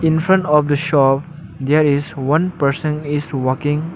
In front of the shop there is one person is walking.